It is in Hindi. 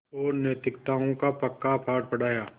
और नैतिकताओं का पक्का पाठ पढ़ाया